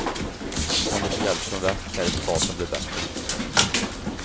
Kan de få hjälp från väst kan resultatet bli bättre.